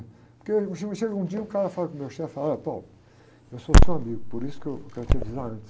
Porque chega um dia e o cara fala com o meu chefe, fala, olha, eu sou seu amigo, por isso que eu quero te avisar antes.